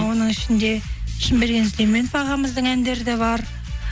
оның ішінде шыңберген сүйлеменов ағамыздың әндері де бар